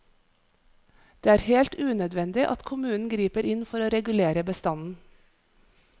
Det er helt unødvendig at kommunen griper inn for å regulere bestanden.